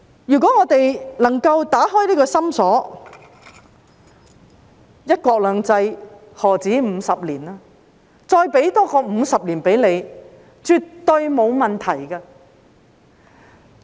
如果我們能夠打開這個心鎖，"一國兩制"，何止50年？再多給你50年也絕對沒有問題。